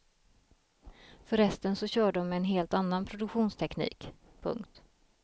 För resten så kör dom med en helt annan produktionsteknik. punkt